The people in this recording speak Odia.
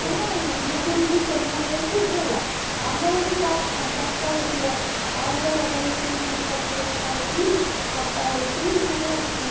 ମାନେ ମୁଁ ବି ଏବେ ଯୋଉ ଚେନ୍ନାଇ ଯାଇଥିଲି ହେଲା ଆମର ଏଠି ଚାଟ କଣ ଚକଟା ହେଇଥିବ ଆଉ ଗୋଟେ ଜାଗାରେ ବି ସେଇ KIIT ପାଖରେ ମୁଁ ଖାଇଥିଲି କଟା ହେଇକି ମାନେ